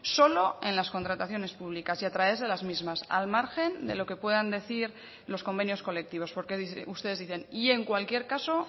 solo en las contrataciones públicas y a través de las mismas al margen de lo que puedan decir los convenios colectivos porque ustedes dicen y en cualquier caso